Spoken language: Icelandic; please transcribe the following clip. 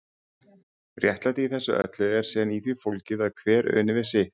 Réttlætið í þessu öllu er síðan í því fólgið að hver uni við sitt.